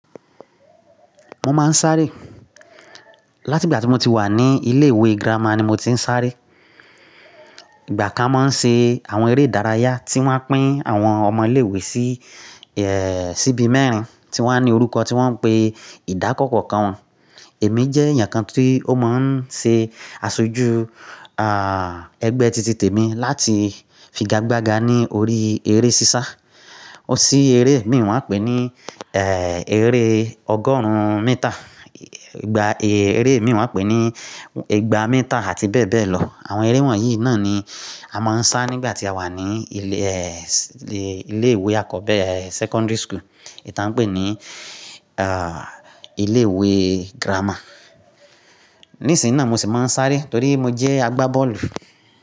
Mo máa ń sáré láti ìgbà tí mo ti wà ní ilé ìwé girama ni mo ti ń sáré. Ìgbà kan máa ń ṣe àwọn eré ìdárayá tí wọ́n pín àwọn ọmọ ilé ìwé sí, síbí mẹ́rin tí wọ́n ní orúkọ tí wọ́n ń pè ìdákọkọ kàn. Èmi jẹ́ èèyàn kan tí ó máa ń ṣe aṣojú, ah, ẹgbẹ́ titi-tẹ̀mi láti figagbága ní orí eré sísá. Sí eré mìíràn wọ́n pè é ní, eh, eré ọgọ́rùn-ún mítà. Ìgbà eré mìíràn wọ́n pè é ní igba mítà àti bẹ́ẹ̀ bẹ́ẹ̀ lọ. Àwọn eré wọ̀nyí náà ni a máa ń sá nígbà tí a wà ní ilé, ilé ìwé àkọ́bẹ́rẹ́ secondary school. Ètà ń pè é ní, ah, ilé ìwé girama. Nísìnyí náà mo sì máa ń sáré torí mo jẹ́ agbábọ́ọ̀lù.